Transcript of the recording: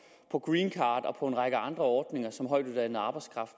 på greencard og på en række andre ordninger som højtuddannet arbejdskraft